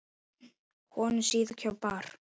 Konan síðkjól bar.